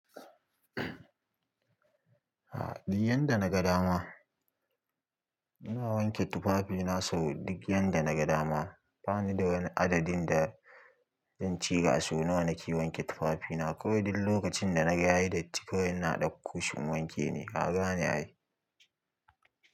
Ha, duk yadda na ga dama. Ina wanke tufafina sau duk yadda na ga dama. Bani da wani adadin da zan ce gasu. Nawa nake wanke tufafina. Kiwai duk lokacin da na yayi datti kawai ina dakko shi in wanke ne. Kagane ai.